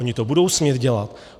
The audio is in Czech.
Oni to budou smět dělat.